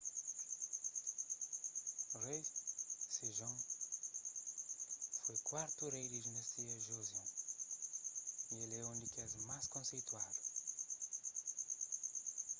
rei sejong foi kuartu rei di dinastia joseon y el é un di kes más konseituadu